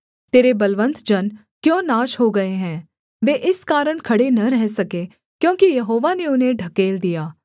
तेरे बलवन्त जन क्यों नाश हो गए हैं वे इस कारण खड़े न रह सके क्योंकि यहोवा ने उन्हें ढकेल दिया